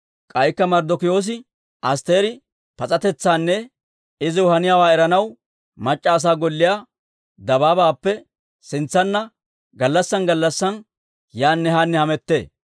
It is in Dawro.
K'aykka Marddokiyoosi Asttiri pas'atetsaanne iziw haniyaawaa eranaw, mac'c'a asaa golliyaa dabaabaappe sintsanna gallassaan gallassaan yaanne haanne hamettee.